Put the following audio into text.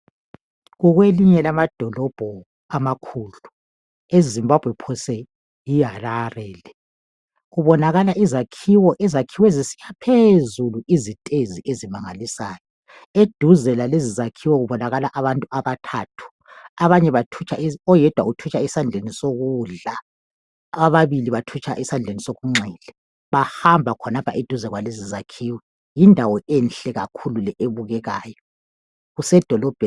Kukwelinye lamadolobho amakhulu ezimbabwe phose Yi Harare le kubonakala izakhiwo izakhiwo eziphezulu izitezi ezimangalisayo eduze kwezakhiwo kubonakala abantu abathathu oyedwa kubonakala ethutsha esandleni sokudla ababili bathutsha esandleni sokunxele bahamba khonapho duze kwezakhiwo yindawo enhle le ebukekayo kusedolobheni